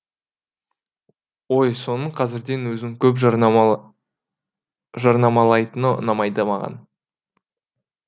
ой соның қазірден өзін көп жарнамалайтыны ұнамайды маған